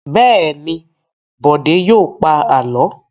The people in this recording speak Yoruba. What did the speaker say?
Bẹ́ẹ̀ ni, Bọ̀dé yóò pa àlọ́.